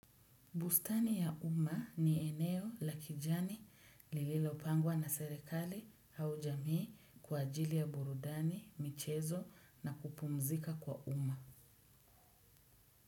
Bustani ya umma ni eneo la kijani lililopangwa na serikali au jamii kwa ajili ya burudani, michezo na kupumzika kwa umma.